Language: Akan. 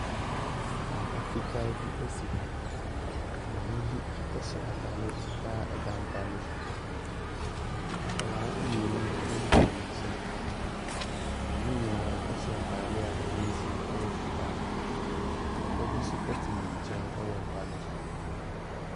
Mpa fitaa bi si ha. Maame bi hyɛ atadeɛ fitaa da mpa no so. Nkwadaa mmienu kita ne nsam. Wɔn nyina hyɛ ntadeɛ a ɛho nsuo yɛ fitaa. Papa bi nso te ne nkyɛ wɔ mpa no so.